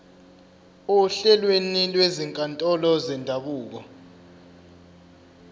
ohlelweni lwezinkantolo zendabuko